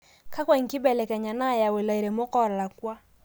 kakua inkibelekenyata naayau ilairemok oolakua